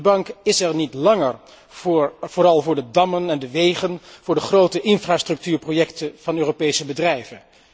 De bank is er niet langer vooral voor dammen en de wegen, voor de grote infrastructuurprojecten van Europese bedrijven.